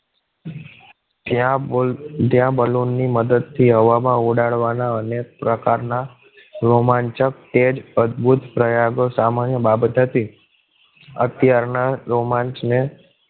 ક્યાં બોલ balloon ની મદદથી હવા માં ઉડાડવા ના અને પ્રકાર ના રોમાંચક તેજ઼ અદ્ભુત પ્રયાગ સામાન્ય બાબત હતી. અત્યાર ના રોમાંચને